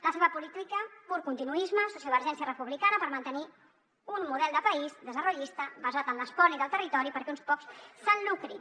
la seva política pur continuisme sociovergència republicana per mantenir un model de país desarrollista basat en l’espoli del territori perquè uns quants se’n lucrin